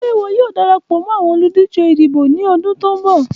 Ṣe iwọ yoo darapọ mọ awọn oludije idibo ni ọdun ti n bọ?